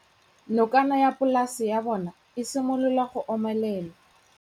Nokana ya polase ya bona, e simolola go omelela.